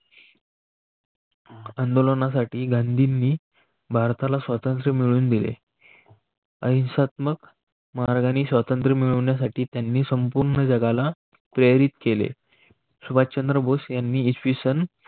आंदोलनासाठी गांधींनी स्वातंत्र्य मिळवून दिले. आयुष्यात मग मार्गाने स्वातंत्र्य मिळवण्यासाठी त्यांनी संपूर्ण जगाला प्रेरित केले सुभाष चंद्र बोस यांनी इसवी सन